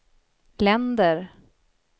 länder